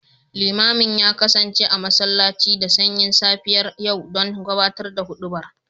Limamin ya kasance a masallaci da sanyin safiyar yau don gabatar da hudubar